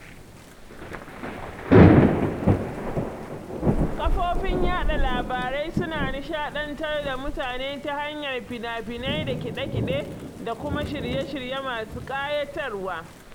kafofin yaɗa labarai suna nishadantar da mutane ta hanyar fina-finai da kiɗe-kiɗe da kuma shirye-shirye masu ƙayatarwa.